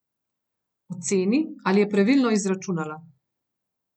Oceni, ali je pravilno izračunala.